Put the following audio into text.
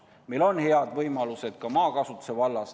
Meil on head võimalused ka maakasutuse vallas.